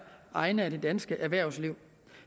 egne af det danske erhvervsliv